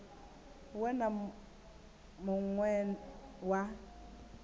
we na mun we wa